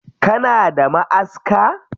Kana da ma'aska?